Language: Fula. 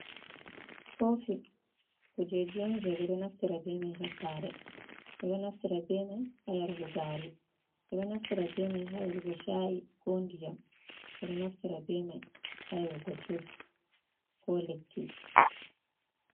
Kofi: Kujeji on je ɓedo naftira be mai ha sare, ɓeɗo naftira be mai ha yarugo gari, ɓe ɗo naftira be mai ha yarugo cha'i ko ndiyam, ɓeɗo naftira be mai ha yarugo juice ko lekki.